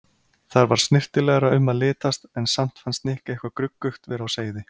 Þar var snyrtilegra um að litast en samt fannst Nikka eitthvað gruggugt vera á seyði.